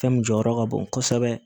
Fɛn min jɔyɔrɔ ka bon kosɛbɛ